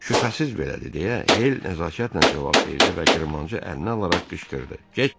Şübhəsiz belədir deyə Hel nəzakətlə cavab verdi və qırmancı əlinə alaraq qışqırdı: Getdik!